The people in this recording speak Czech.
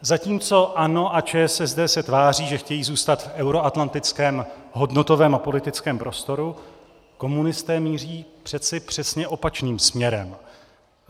Zatímco ANO a ČSSD se tváří, že chtějí zůstat v euroatlantickém hodnotovém a politickém prostoru, komunisté míří přeci přesně opačným směrem.